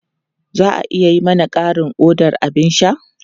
Za a iya yi mana ƙarin odar abin sha?